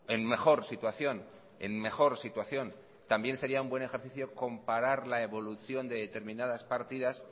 en mejor situación en mejor situación también sería un buen ejercicio comparar la evolución de determinadas partidas